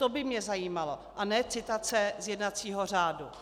To by mě zajímalo, a ne citace z jednacího řádu.